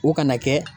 O kana kɛ